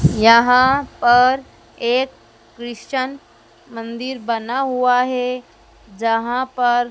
यहां पर एक क्रिश्चन मंदिर बना हुआ है जहां पर--